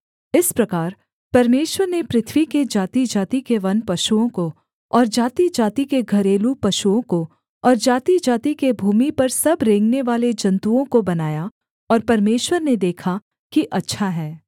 इस प्रकार परमेश्वर ने पृथ्वी के जातिजाति के वनपशुओं को और जातिजाति के घरेलू पशुओं को और जातिजाति के भूमि पर सब रेंगनेवाले जन्तुओं को बनाया और परमेश्वर ने देखा कि अच्छा है